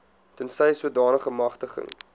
tensy sodanige magtiging